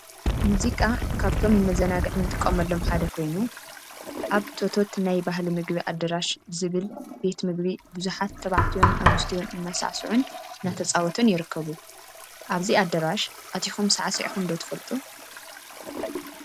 ሙዚቃ ሙዚቃ ካብቶም ንመዝናነይ እንጥቀመሎም ሓደ ኮይኑ፤ አብ ቶቶት ናይ ባህሊ ምግቢ አዳራሽ ዝብል ቤት ምግቢ ቡዙሓት ተባዕትዮን አንስትዮን እናሳዕስዑን እናተፃወቱን ይርከቡ፡፡ አብዚ አዳራሽ አቲኩም ሳዕሲዕኩም ዶ ትፈልጡ?